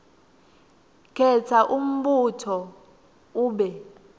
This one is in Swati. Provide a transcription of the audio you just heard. khetsa umbuto ube